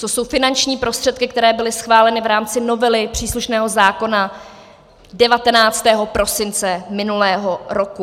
To jsou finanční prostředky, které byly schváleny v rámci novely příslušného zákona 19. prosince minulého roku.